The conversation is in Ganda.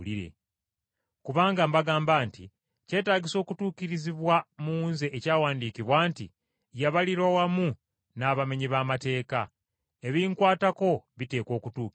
Kubanga mbagamba nti kyetaagisa okutuukirizibwa mu nze ekyawandiikibwa nti, ‘Yabalirwa wamu n’abamenyi b’amateeka,’ ebinkwatako biteekwa okutuukirira.”